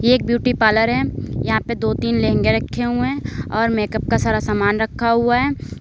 ये एक beauty parlour है यहां पे दो तीन लहंगे रखे हुए हैं और मेकअप का सारा सामान रखा हुआ है।